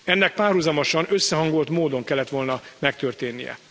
Ennek párhuzamosan, összehangolt módon kellett volna megtörténnie.